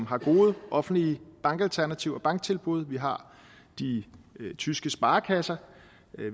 har gode offentlige bankalternativer og banktilbud vi har de tyske sparekasser